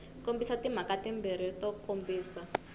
kombisa timhaka timbirhi to kombisa